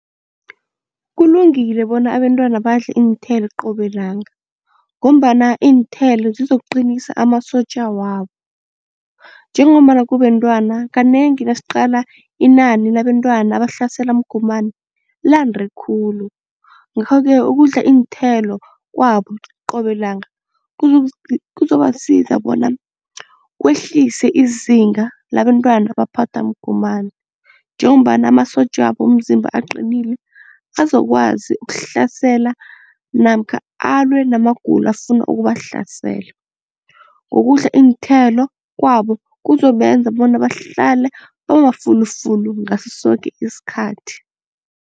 Kulungile bona abentwana badle iinthelo qobe langa ngombana iinthelo zizokuqinisa amasotja wabo, njengombana kubentwana kanengi nasiqala inani labentwana abahlaselwa mgomani lande khulu. Ngakho-ke ukudla iinthelo kwabo qobe langa kuzobasiza bona kwehlise izinga labantwana abaphathwa mgomani njengombana amasotjabo womzimba aqinile azokwazi ukuhlasela namkha alwe namagulo afuna ukubahlasela, ngokudla iinthelo kwabo kuzobenza bona bahlale bamafulufulu ngaso soke isikhathi.